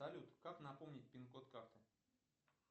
салют как напомнить пин код карты